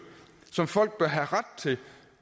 samfund